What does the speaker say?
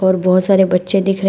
बहोत सारे बच्चे दिख रहे--